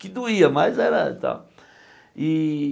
Que doía, mas era tal. E